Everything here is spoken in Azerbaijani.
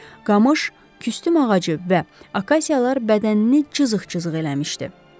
Qamış, kütüm ağacı və akasiyalar bədənini cızığ-cızığ eləmişdi.